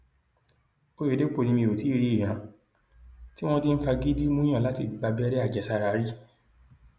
òyedèpọ ni mi ò tí ì rí ìran tí wọn ti ń fagídí múùyàn láti gba abẹrẹ àjẹsára rí